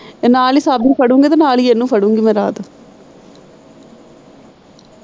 ਤੇ ਨਾਲ ਹੀ ਸਾਬੀ ਨੂੰ ਫੜੂਗੀ ਤੇ ਨਾਲ ਇਨੂੰ ਫੜੂਗੀ ਮੈੈਂ ਰਾਤ।